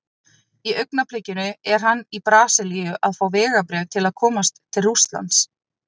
Í augnablikinu er hann í Brasilíu að fá vegabréf til að komast til Rússlands.